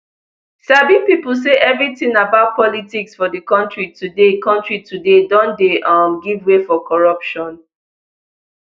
sabi pipo say evritin about politics for di kontri today kontri today don dey um give way for corruption